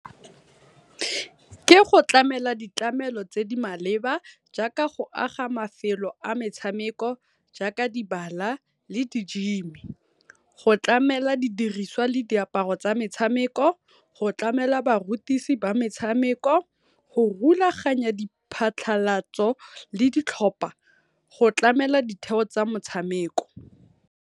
Ke go tlamela ditlamelo tse di maleba jaaka go aga mafelo a metshameko jaaka di bala le di gym-i. Gotlamela di diriswa le diaparo tsa metshameko, go tlamela barutisi ba metshameko, go rulaganya di phatlhalatso le ditlhopa go tlamela ditheo tsa motshameko.